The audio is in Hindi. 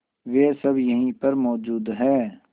वे सब यहीं पर मौजूद है